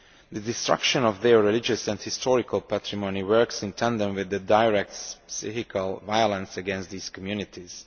The destruction of their religious and historical patrimony works in tandem with the direct physical violence against these communities.